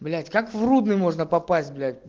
блять как в рудный можно попасть блять